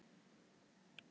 Lars hér!